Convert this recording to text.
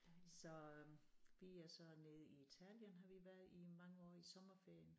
Så øh vi er så nede i Italien har vi været i i mange år i sommerferien